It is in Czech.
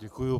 Děkuji.